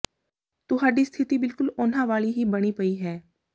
ਤੁਹਾਡੀ ਸਥਿਤੀ ਬਿਲਕੁਲ ਉਨ੍ਹਾਂ ਵਾਲੀ ਹੀ ਬਣੀ ਪਈ ਹੈ